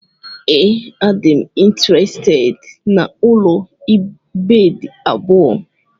Ee, adịm intirested n'ụlọ bedi abụọ.